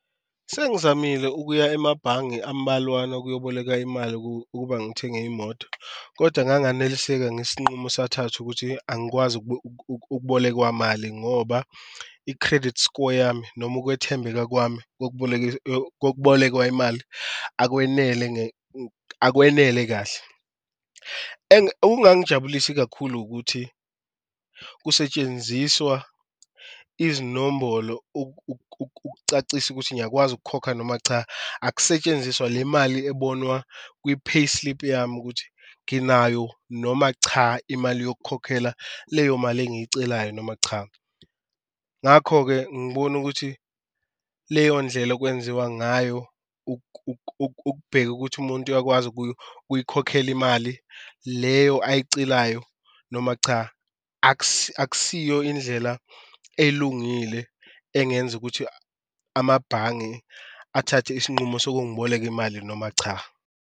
Sengizamile ukuya emabhange ambalwana ukuyoboleka imali ukuba ngithenge imoto koda nganganeliseka ngesinqumo esathathwa ukuthi angikwazi ukubolekwa mali ngoba i-credit score yami noma ukwethembeka kwami kokubolekwa imali akwenele akwenele kahle. Okungangijabulisi kakhulu ukuthi kusetshenziswa izinombholo ukucacisa ukuthi ngiyakwazi ukukhokha noma cha, akusetshenziswa le mali ebona kwi-payslip yami ukuthi nginayo noma cha imali yokukhokhela leyo mali engiyicelayo noma cha. Ngakho-ke ngibona ukuthi leyo ndlela okwenziwa ngayo ukubheka ukuthi umuntu akwazi ukuyikhokhela imali leyo ayicelayo noma cha akusiyo indlela elungile engenza ukuthi amabhange athathe isinqumo sokungiboleka imali noma cha.